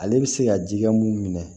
Ale bɛ se ka ji kɛ mun minɛ